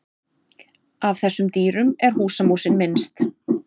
Af þessum dýrum er húsamúsin minnst.